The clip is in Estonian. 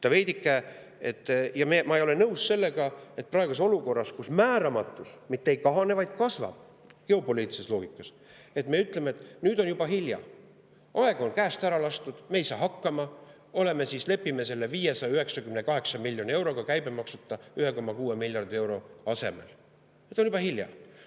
Ma ei ole nõus sellega, et praeguses olukorras, kus määramatus mitte ei kahane, vaid kasvab geopoliitilises loogikas, me ütleme, et nüüd on juba hilja, aeg on käest lastud, me ei saa hakkama, lepime selle 598 miljoni euroga, käibemaksuta, 1,6 miljardi euro asemel, sest on juba hilja.